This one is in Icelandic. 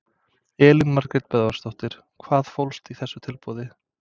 Elín Margrét Böðvarsdóttir: Hvað fólst í þessu tilboði?